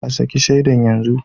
A saki shaida yanzu